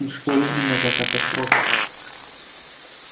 и что именно за катастрофу